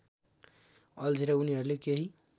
अल्झेर उनीहरूले केही